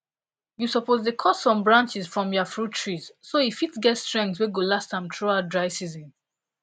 you suppose dey cut some branches from ya fruit trees so e fit get strength wey go last for am throughout dry season